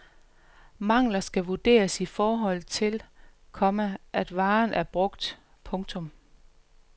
Mangler skal vurderes i forhold til, komma at varen er brugt. punktum